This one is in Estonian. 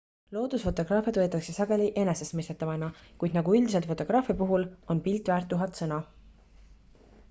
loodusfotograafiat võetakse sageli enesestmõistetavana kuid nagu üldiselt fotograafia puhul on pilt väärt tuhat sõna